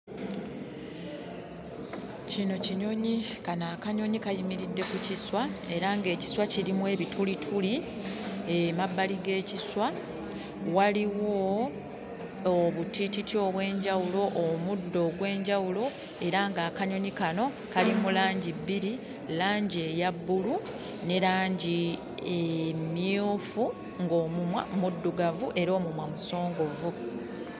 Kino kinyonyi. Kano akanyonyi kayimiridde ku kiswa era ng'ekiswa kirimu ebitulituli, emabbali g'ekiswa waliwo obutititi obw'enjawulo, omuddo ogw'enjawulo era ng'akanyonyi kano kali mu langi bbiri: langi eya bbulu ne langi emmyufu, ng'omumwa muddugavu era omumwa musongovu.